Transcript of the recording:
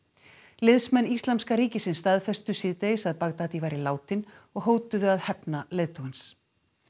liðsmenn Íslamska ríkisins staðfestu síðdegis að Baghdadi væri látinn og hótuðu að hefna leiðtogans